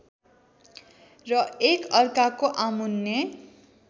र एकअर्काको आमुन्ने